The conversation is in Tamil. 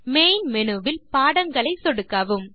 மெயின் மேனு வில் பாடங்களை சொடுக்கவும்